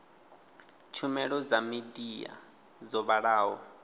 tshumelo dza midia dzo vhalaho